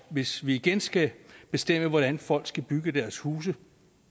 hvis vi igen skal bestemme hvordan folk skal bygge deres huse